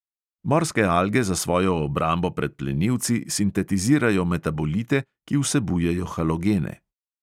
Morske alge za svojo obrambo pred plenilci sintetizirajo metabolite, ki vsebujejo halogene.